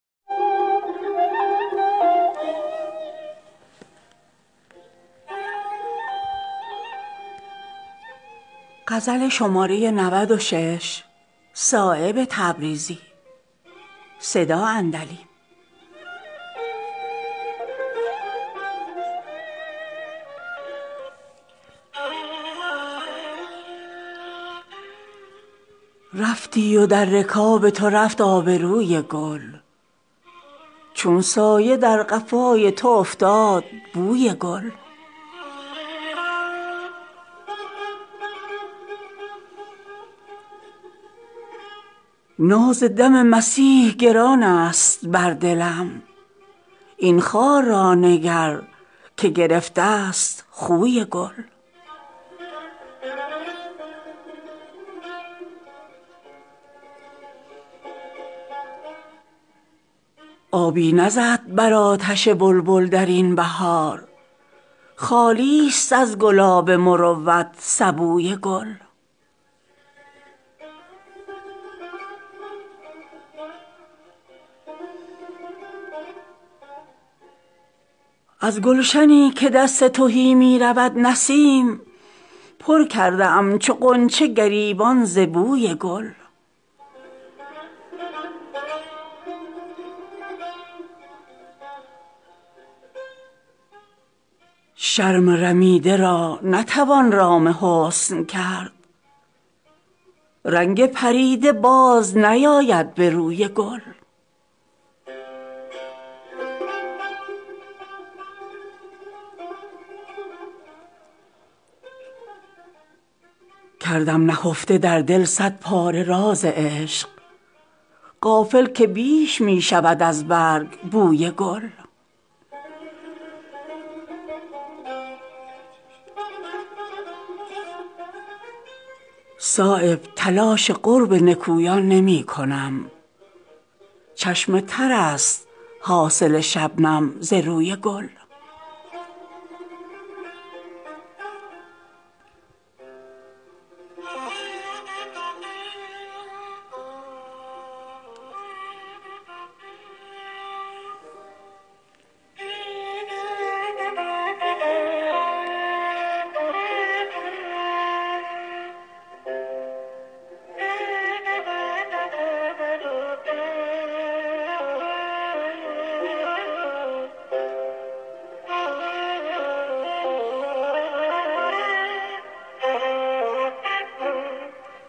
کمال حسن کجا دیده پر آب کجا شکوه بحر کجا خیمه حباب کجا مرا که جلوه هر ذره است رطل گران کجاست حوصله جام آفتاب کجا نمانده است ز دل جز غبار افسوسی به این خرابه فتد نور ماهتاب کجا گذشته است ترا ز آفتاب پایه حسن هلال عید شود با تو همرکاب کجا به جستجوی تو گرد از جهان برآوردم دگر کجا روم ای خانمان خراب کجا مرا که نعره مستانه بی قرار نکرد رسد به داد دلم نغمه رباب کجا گرفتم این که رسد نوبت سؤال به من دماغ حرف کجا قدرت جواب کجا ز بس که گرم تماشای گلرخان گشتم نیافتم که کجا شد دل من آب کجا ز برگ نکهت گل بیش می شود رسوا ترا نهفته کند پرده حجاب کجا میان سوخته و خام فرق بسیارست سرشک تاک کجا گریه کباب کجا گرفته است جهان را غبار بی دردی کجا رویم ازین عالم خراب کجا چنین که آب برآورده است خانه چشم بساط خود فکند پرده های خواب کجا فروغ حسن جهانگیر او کجاست که نیست ز خویش می روی ای دل به این شتاب کجا نظر به چشمه حیوان نمی کنم صایب مرا ز راه برد جلوه سراب کجا